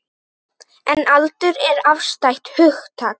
En aldur er afstætt hugtak.